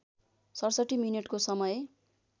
६७ मिनेटको समय